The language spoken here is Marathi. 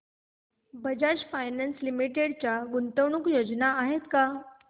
बजाज फायनान्स लिमिटेड च्या गुंतवणूक योजना आहेत का